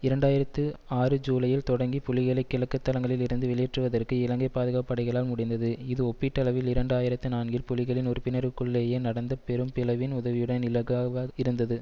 இரண்டாயிரத்தி ஆறு ஜூலையில் தொடங்கி புலிகளை கிழக்கு தளங்களில் இருந்து வெளியேற்றுவதற்கு இலங்கை பாதுகாப்பு படைகளால் முடிந்தது இது ஒப்பீட்டளவில் இரண்டாயிரத்தி நான்கில் புலிகளின் உறுப்பினர்களுக்குள்ளேயே நடந்த பெரும் பிளவின் உதவியுடன் இலகாவா இருந்தது